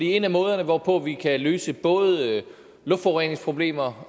en af måderne hvorpå vi kan løse både luftforureningsproblemer